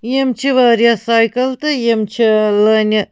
.یِم چھ واریاہ ساییکل تہٕ یِم چھ لٲنہِ